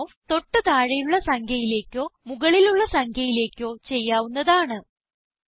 rounding off തൊട്ട് താഴെയുള്ള സംഖ്യയിലേക്കോ മുകളിലുള്ള സംഖ്യയിലേക്കോ ചെയ്യാവുന്നതാണ്